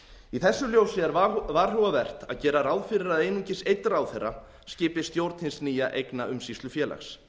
í þessu ljósi er varhugavert að gera ráð fyrir að einungis einn ráðherra skipi stjórn hins nýja eignaumsýslufélags